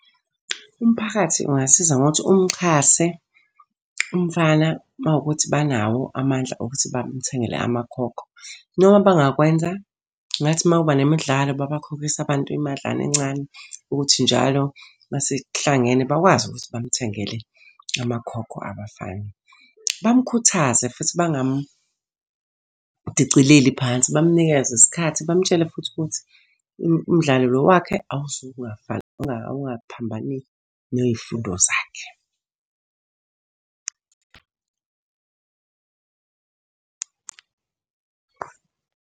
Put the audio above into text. Umphakathi ungasiza ngokuthi umxhase umfana uma kuwukuthi banawo amandla okuthi bamthengele amakhokho. Noma abangakwenza, ngathi uma kuba nemidlalo babakhokhise abantu imadlana encane ukuthi njalo uma sekuhlangene bakwazi ukuthi bamuthengele amakhokho abafana. Bamukhuthaze futhi bangamudicileli phansi. Bamnikeze isikhathi, bamutshele futhi ukuthi umdlalo lo wakhe ungaphambanisi ney'fundo zakhe.